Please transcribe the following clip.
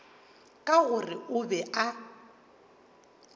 ka gore o be a